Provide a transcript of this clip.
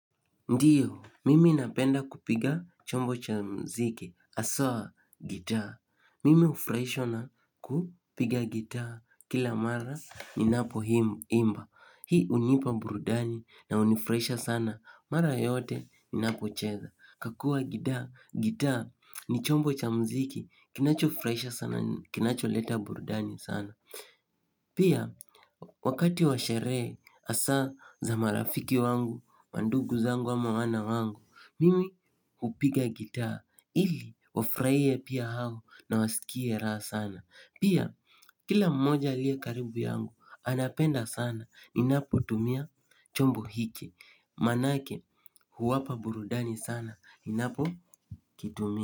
Ndiyo, mimi napenda kupiga chombo cha muziki, haswa, gitaa. Mimi hufurahishwa na kupiga gitaa, kila mara ninapoimba. Hii hunipa burudani na hunifuraisha sana, mara yote ninapocheza. Kwa kuwa gidaa, gitaa ni chombo cha muziki, kinachofuraisha sana, kinacholeta burudani sana. Pia wakati wa sherehe hasa za marafiki wangu mandugu zangu ama wana wangu, mimi hupiga gitaa ili wafurahie pia hao na wasikie raha sana. Pia kila mmoja aliye karibu yangu anapenda sana ninapotumia chombo hiki Maanake huwapa burudani sana ninapokitumia.